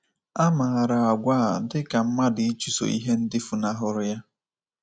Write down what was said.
A maara àgwà a dị ka mmadụ ịchụso ihe ndị fụnahụrụ ya.